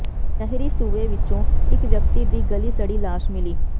ਨਹਿਰੀ ਸੂਏ ਵਿਚੋਂ ਇੱਕ ਵਿਅਕਤੀ ਦੀ ਗਲੀ ਸੜੀ ਲਾਸ਼ ਮਿਲੀ